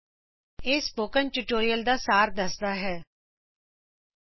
ਇਹ spoken tutorial project ਦਾ ਸਾਰ ਪੇਸ਼ ਕਰਦਾ ਹੈ